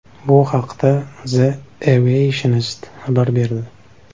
Bu haqda The Aviationist xabar berdi .